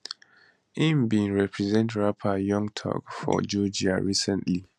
im bin represent rapper young thug for georgia recently